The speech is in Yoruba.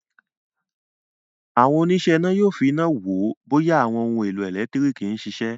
Àwọn òníṣẹ́-iná yóò fi iná wo bóyá àwọn ohun-èlò ẹ̀lẹ́tíríkì ń ṣiṣẹ́.